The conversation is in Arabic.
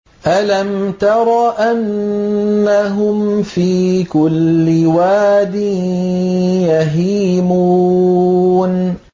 أَلَمْ تَرَ أَنَّهُمْ فِي كُلِّ وَادٍ يَهِيمُونَ